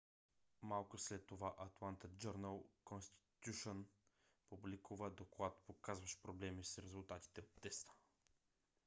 малко след това атланта джърнъл конститюшън публикува доклад показващ проблеми с резултатите от теста